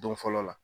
Don fɔlɔ la